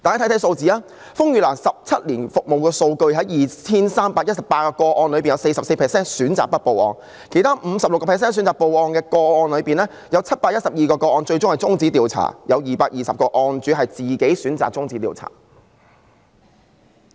看看數字，根據風雨蘭17年來的服務數據，在 2,318 宗個案中，有 44% 選擇不報案；其餘 56% 選擇報案的個案中，有712宗個案最後終止調查，當中220宗是事主自行選擇終止調查的。